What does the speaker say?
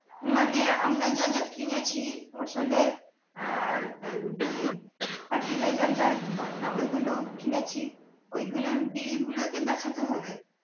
মানে আমরা যা যা কিনেছি ফসলের আর আহ মানে fertilizer ওই গুলো কিনেছি ওই গুলোর bill গুলোকে দেখাতে হবে?